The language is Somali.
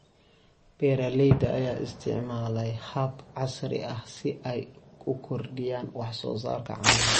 Beeralayda ayaa isticmaalaya habab casri ah si ay u kordhiyaan wax soo saarka caanaha.